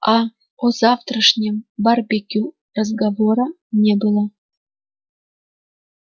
а о завтрашнем барбекю разговора не было